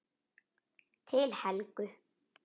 Til Helgu.